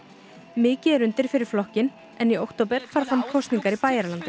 mikið er undir fyrir flokkinn en í október fara fram kosningar í Bæjaralandi